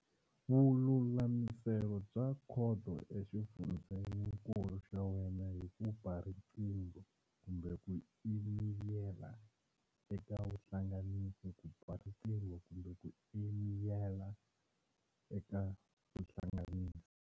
Vululamiselo bya Khoto exifundzeninkulu xa wena hi ku ba riqingho kumbe ku emeyila eka vuhlanganisi ku ba riqingho kumbe ku emeyila eka vuhlanganisi.